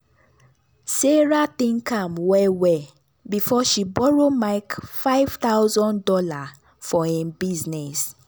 sarah think am well well before she borrow mike five thousand dollars for im business.